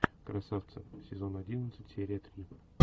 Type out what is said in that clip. красавцы сезон одиннадцать серия три